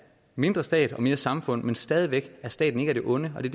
mindre stat og mere samfund men stadig væk er staten ikke af det onde og det